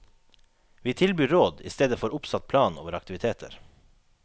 Vi tilbyr råd, i stedet for oppsatt plan over aktiviteter.